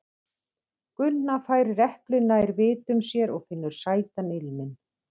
Gunna færir eplið nær vitum sér og finnur sætan ilminn.